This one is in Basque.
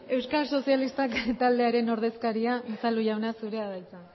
euskal sozialistak taldearen ordezkaria unzalu jauna zurea da hitza